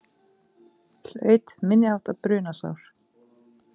Hlaut minniháttar brunasár